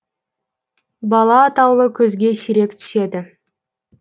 бала атаулы көзге сирек түседі